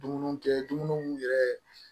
Dumuniw kɛ dumuniw yɛrɛ